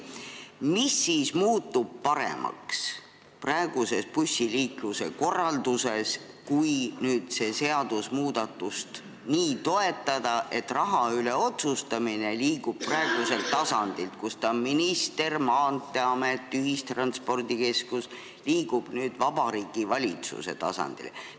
Mis muutub praeguse bussiliikluse korralduse juures paremaks, kui seda seadusmuudatust toetada, nii et raha üle otsustamine liigub praeguselt tasandilt, kus ta on – minister, Maanteeamet, ühistranspordikeskus – Vabariigi Valitsuse tasandile?